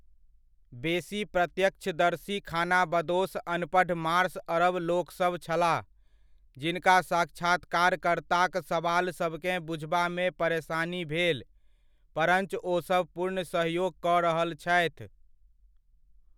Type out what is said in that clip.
बेसी प्रत्यक्षदर्शी खानाबदोश अनपढ़ मार्श अरब लोकसभ छलाह, जिनका साक्षात्कारकर्ताक सबालसभकेँ बुझबामे परेसानी भेल परञ्च ओसभ पूर्ण सहयोग कऽ रहल छथि।